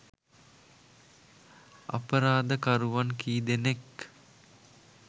අපරාධකරුවන් කී දෙනෙක්